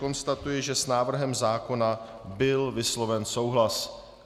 Konstatuji, že s návrhem zákona byl vysloven souhlas.